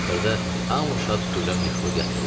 Axırda hamı şad-xürrəm yıxılıb yatdılar.